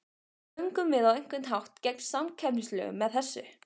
Göngum við á einhvern hátt gegn samkeppnislögum með þessu?